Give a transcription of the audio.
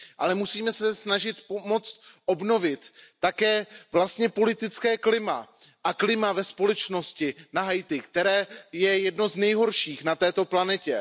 Ale musíme se snažit pomoci obnovit také vlastně politické klima a klima ve společnosti na Haiti, které je jedno z nejhorších na této planetě.